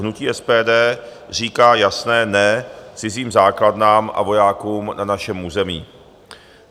Hnutí SPD říká jasné "ne" cizím základnám a vojákům na našem území.